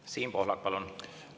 Siim Pohlak, palun!